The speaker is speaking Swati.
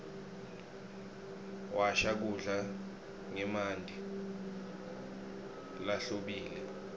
washa kudla ngemanti lahlobile